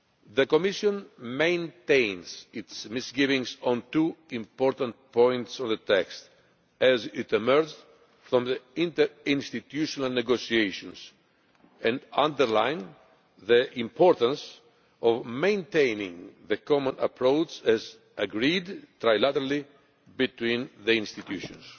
The Commission maintains its misgivings on two important points of the text, as it emerged from the interinstitutional negotiations, and underlines the importance of maintaining the common approach as agreed trilaterally between the institutions.